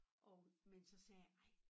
Og men så sagde jeg ej